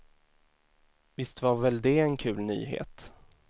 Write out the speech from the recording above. Visst var väl det en kul nyhet.